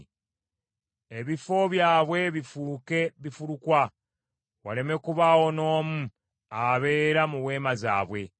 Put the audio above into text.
Ebifo byabwe bifuuke bifulukwa, waleme kubaawo n’omu abeera mu weema zaabwe.